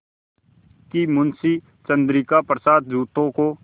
कि मुंशी चंद्रिका प्रसाद जूतों को